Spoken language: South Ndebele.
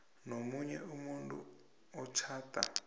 nomunye umuntu otjhada